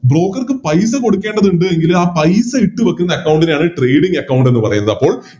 Broker ക്ക് പൈസ കൊടുക്കേണ്ടതുണ്ട് എങ്കില് ആ പൈസ ഇട്ടുവെക്കുന്ന Account നെയാണ് Trading account എന്ന് പറയുന്നത് അപ്പൊ